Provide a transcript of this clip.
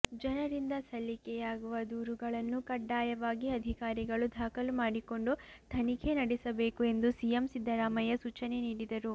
ಜನರಿಂದ ಸಲ್ಲಿಕೆಯಾಗುವ ದೂರುಗಳನ್ನು ಕಡ್ಡಾಯವಾಗಿ ಅಧಿಕಾರಿಗಳು ದಾಖಲು ಮಾಡಿಕೊಂಡು ತನಿಖೆ ನಡೆಸಬೇಕು ಎಂದು ಸಿಎಂ ಸಿದ್ದರಾಮಯ್ಯ ಸೂಚನೆ ನೀಡಿದರು